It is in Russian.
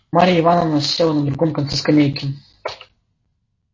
марья ивановна села на другом конце скамейки